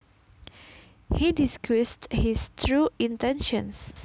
He disguised his true intentions